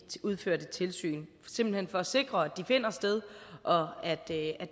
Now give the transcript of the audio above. udførte tilsyn simpelt hen for at sikre at de finder sted og at det er